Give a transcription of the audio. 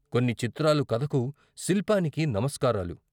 కొన్ని చిత్రాలు కథకు, శిల్పానికి నమస్కారాలు.